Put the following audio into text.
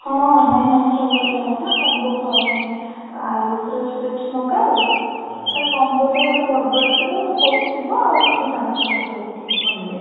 ହଁ, ନାଇଁ ଆମେ ସବୁବେଳେ ଯାଉ ନା combo ଖାଉ ମାନେ ଆୟୁଷ ର strips ମଗାଉ ତାର combo ଥାଏ ଗୋଟେ burger ଥିବ ଗୋଟେ coke ଥିବ ଆଉ ତୁ ତୋ ଜାଣିଛୁ ମୋତେ coke କେତେ ଭଲ ଲାଗେ